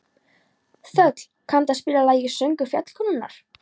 Þöll, kanntu að spila lagið „Söngur fjallkonunnar“?